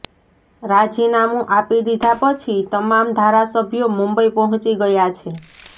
રાજીનામું આપી દીધા પછી તમામ ધારાસભ્યો મુંબઈ પહોંચી ગયા છે